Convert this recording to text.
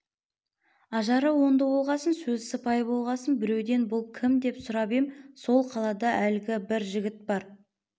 ажары оңды болғасын сөзі сыпайы болғасын біреуден бұл кім деп сұрап ем сол қалада әлгі бір жігіт бар